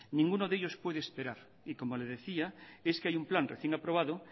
ninguno de ellos puede esperar y como le decía es que hay un plan recién aprobado